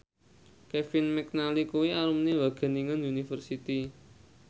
Kevin McNally kuwi alumni Wageningen University